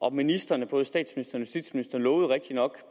ministrene både statsministeren lovede rigtignok